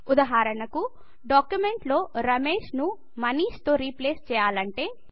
ఉదాహరణకు డాక్యుమెంట్ లో రమేశ్ ను మనీష్ తో రీప్లేస్ చేయాలంటే